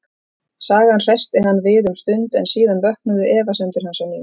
Sagan hressti hann við um stund, en síðan vöknuðu efasemdir hans á ný.